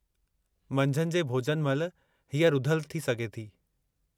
मंझंदि जे भोॼन महिल हीअ रुधलु थी सघे थी।